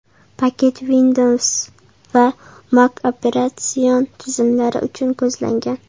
Paket Windows va Mac operatsion tizimlari uchun ko‘zlangan.